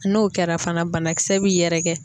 N'o kɛra fana banakisɛ bi yɛrɛkɛ.